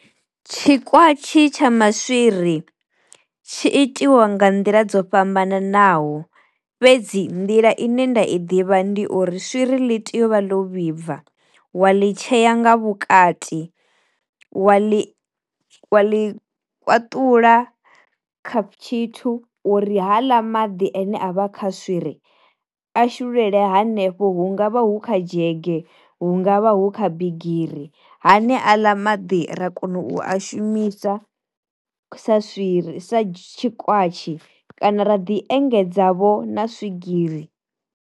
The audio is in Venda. Tshi kwatshi tsha maswiri tshi itiwa nga nḓila dzo fhambananaho fhedzi nḓila ine nda i ḓivha ndi uri swiri ḽi tea uvha ḽo vhibva wa ḽi tsheya nga vhukati wa ḽi wa ḽi kwṱula khap tshithu uri haaḽa maḓi ane a vha kha swiri a shululele hanefho hu ngavha hu kha dzhege hu ngavha hu kha bigiri, hane aḽa maḓi ra kona u a shumisa sa swiri sa tshikwatshi kana ra ḓi engedza vho na swigiri.